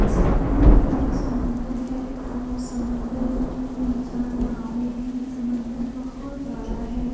सामने एक समुन्दर है और समुन्दर में तीन चार नावे हैं | समुन्दर बहोत बड़ा है।